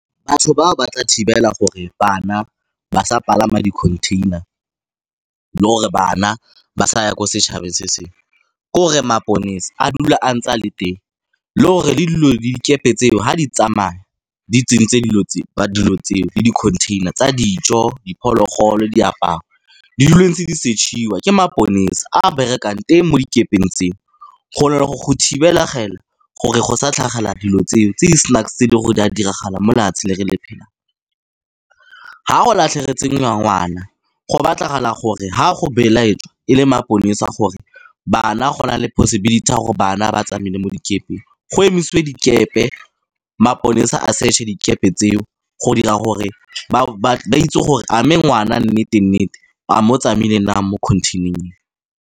Batho ba ba tla thibela gore bana ba sa palama di-container, le or gore bana ba saya ko setšhaba se sengwe. Ke gore maponesa a dula a ntse a le teng le gore le dilo dikepe tseo ga di tsamaya di tsentse dilo tseo le di-container tsa dijo, diphologolo, diaparo di dilo di ntse di setšhiwa ke maponesa, a a berekang teng mo dikepeng tseo. Go go thibegela gore go sa tlhagela dilo tseo tse di snacks tse e leng gore di a diragala mo lefatshe le re le phelang. Ha go latlhegetswe ngwana go batlagala gore ga go belaelwa e le maponesa gore bana go na le possibility ya gore bana ba tsamaile mo dikepeng. Go e isiwe dikepe maponesa a search-e dikepe tseo go dira gore ba itse gore a mme ngwana a nnete-nnete a mo tsamaile nang mo contain-eng eo.